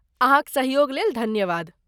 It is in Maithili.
अहाँक सहयोग लेल धन्यवाद।